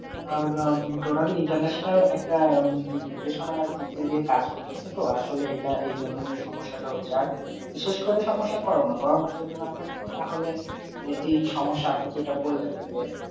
আহ আহ totally international একটা আহ নির্দেশনার মধ্যে দিয়ে কাজ করতো সেতো আসলে এটা এই জন্যেই সমস্যাটা হচ্ছে আর বিশেষ করে সমস্যা করোনা, করোনা যদি না থাকতো তাহলে আহ এই সমস্যা আপনি যেটা বললেন যে